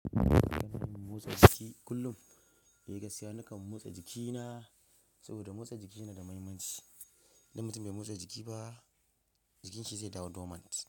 Ina son mu motsa jiki kullum. Ni gaskiya ni kan motsa jikina, sabo da motsa jiki ya na da muhimmanci. In mutum bai motsa jiki ba, jikinshi zai dawo dormant.